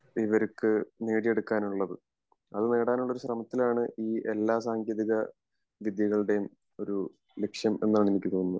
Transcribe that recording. ഇവർക്ക് നേടിയെടുക്കാൻ ഉള്ളത് അത് നേടാനുള്ള ഒരു ശ്രമത്തിലാണ് ഈ എല്ലാ സാങ്കേതിക വിദ്യകളുടെയും ഒരു ലക്ഷ്യം എന്നാണ് എനിക്ക് തോന്നുന്നത്